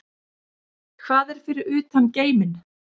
Hvað er fyrir utan geiminn?